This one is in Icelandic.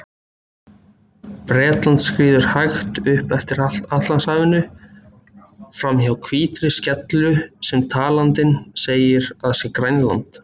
Bretland skríður hægt upp eftir Atlantshafinu, framhjá hvítri skellu sem talandinn segir að sé Grænland.